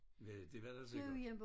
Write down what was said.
Hvad det var der sikkert